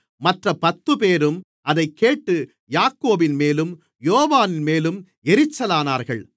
மற்ற பத்துப்பேரும் அதைக்கேட்டு யாக்கோபின்மேலும் யோவானின் மேலும் எரிச்சலானார்கள்